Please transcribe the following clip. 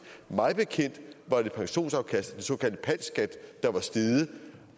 mig bekendt var det pensionsafkastet den såkaldte pal skat der var steget